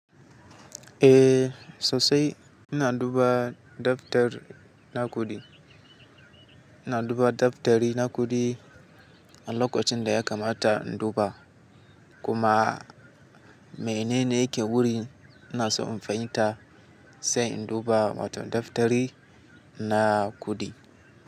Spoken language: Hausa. Eh, sosai ina duba daftar na kuɗi. Ina duba daftari na kuɗi, a lokacin da ya kamata in duba kuma menene yake wurin ina so in fahimta sai in duba waton daftari na kuɗi.